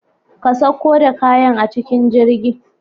ka sauko da kayan a cikin jirgi.